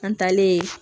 An taalen